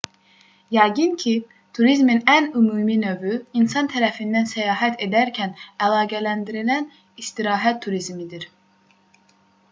yəqin ki turizmin ən ümumi növü insan tərəfindən səyahət edərkən əlaqələndirilən istirahət turizmidir